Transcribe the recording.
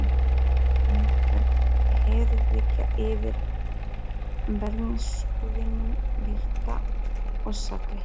Það er oft einhver heiðríkja yfir bernskuvinum, birta og sakleysi.